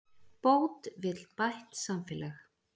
Bót vill bætt samfélag